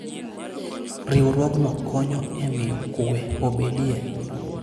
Riwruogno konyo e miyo kuwe obedie.